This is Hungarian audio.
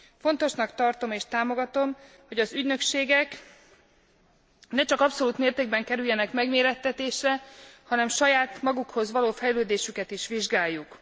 Fontosnak tartom, és támogatom, hogy az ügynökségek ne csak abszolút mértékben kerüljenek megmérettetésre, hanem saját magukhoz képest való fejlődésüket is vizsgáljuk.